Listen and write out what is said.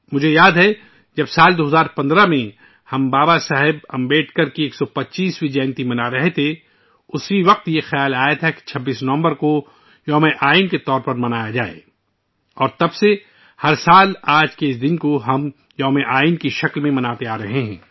مجھے یاد ہے... سال 2015 ء میں، جب ہم بابا صاحب امبیڈکر کی 125 ویں یوم پیدائش منا رہے تھے، میرے ذہن میں ایک خیال آیا کہ 26 نومبر کو یوم آئین کے طور پر منایا جائے اور تب سے ہم ہر سال ، اس دن کو یوم آئین کے طور پر منارہے ہیں